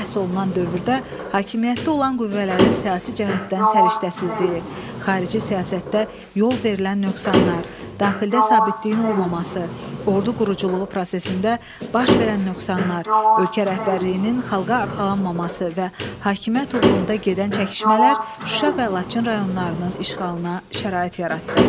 Bəhs olunan dövrdə hakimiyyətdə olan qüvvələrin siyasi cəhətdən səriştəsizliyi, xarici siyasətdə yol verilən nöqsanlar, daxildə sabitliyin olmaması, ordu quruculuğu prosesində baş verən nöqsanlar, ölkə rəhbərliyinin xalqa arxalanmaması və hakimiyyət uğrunda gedən çəkişmələr Şuşa və Laçın rayonlarının işğalına şərait yaratdı.